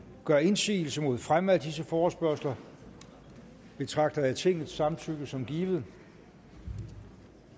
gør indsigelse mod fremme af disse forespørgsler betragter jeg tingets samtykke som givet